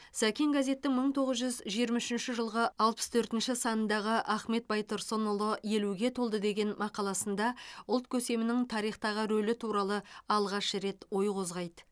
сәкен газеттің мың тоғыз жүзжиырма үшінші жылғы алпыс төртінші санындағы ахмет байтұрсынұлы елуге толды деген мақаласында ұлт көсемінің тарихтағы рөлі туралы алғаш рет ой қозғайды